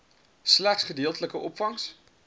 slegs gedeeltelike opvangs